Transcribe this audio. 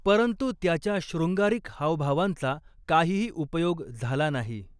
परंतु त्याच्या शृंगारिक हावभावांचा काहीही उपयोग झाला नाही.